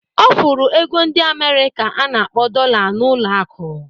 Ọ fụrụ ego ndi Amerịka a na-akpọ Dolla n'ụlọ akụ.